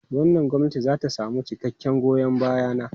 Wannan gwamnati za ta samu cikakken goyon baya na.